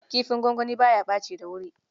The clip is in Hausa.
Kifin gwangwani ba ya ɓaci da wuri.